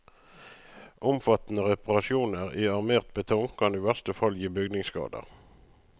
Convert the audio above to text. Omfattende reparasjoner i armert betong kan i verste fall gi bygningsskader.